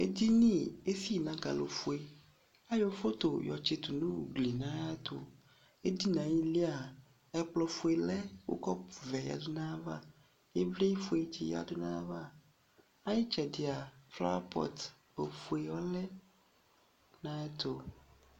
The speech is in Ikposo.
Edini, ezi na akalofueAyɔ foto yɔ tseto no ugli na yeto Edini ayili a, ɛkolɔfue lɛ ki kɔpuvɛ yadu na vaya Evlefue tse yadu na yava Mɛ aye ysɛde a, flawapɔt ofue ɔlɛ na yeto